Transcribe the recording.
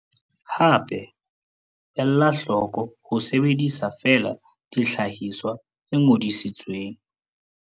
Hape, ela hloko ho sebedisa feela dihlahiswa tse ngodisitsweng.